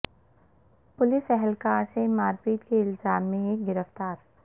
police اہلکار سے مار پیٹ کے الزام میں ایک گرفتار